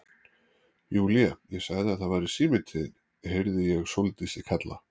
Júlía, ég sagði að það væri síminn til þín heyrði ég Sóldísi kalla.